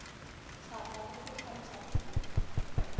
thapa le go tlhalosa tiro